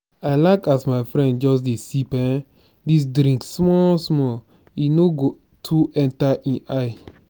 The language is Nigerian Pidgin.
i like as my friend just dey sip um dis drink small small e no go too enta ein eye.